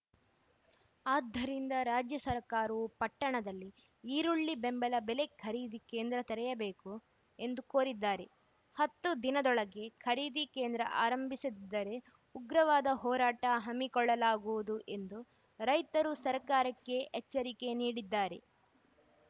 ಆದ್ದರಿಂದ ರಾಜ್ಯ ಸರ್ಕಾರವು ಪಟ್ಟಣದಲ್ಲಿ ಈರುಳ್ಳಿ ಬೆಂಬಲ ಬೆಲೆ ಖರೀದಿ ಕೇಂದ್ರ ತೆರೆಯಬೇಕು ಎಂದು ಕೋರಿದ್ದಾರೆ ಹತ್ತು ದಿನದೊಳಗೆ ಖರೀದಿ ಕೇಂದ್ರ ಆರಂಭಿಸದಿದ್ದರೆ ಉಗ್ರವಾದ ಹೋರಾಟ ಹಮ್ಮಿಕೊಳ್ಳಲಾಗುವುದು ಎಂದು ರೈತರು ಸರ್ಕಾರಕ್ಕೆ ಎಚ್ಚರಿಕೆ ನೀಡಿದ್ದಾರೆ